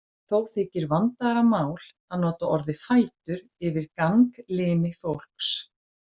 Þó þykir vandaðra mál að nota orðið fætur yfir ganglimi fólks.